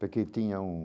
Porque tinha um...